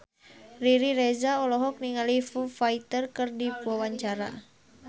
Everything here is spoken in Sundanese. Riri Reza olohok ningali Foo Fighter keur diwawancara